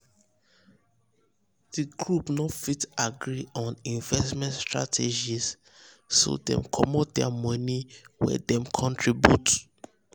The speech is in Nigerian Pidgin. d group no fit agree on investment strategies strategies so dem comot dir money wen dem contribute.